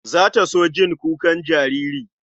Za ta so jin kukan jariri?